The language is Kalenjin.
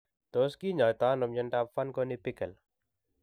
Tos kinyaatano myondap Fanconi Bickel?